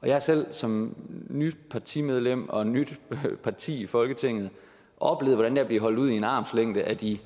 og jeg har selv som nyt partimedlem og nyt parti i folketinget oplevet hvordan at blive holdt ud i en armslængde af de